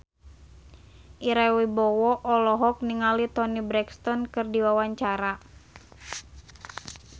Ira Wibowo olohok ningali Toni Brexton keur diwawancara